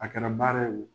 A kɛra baara ye o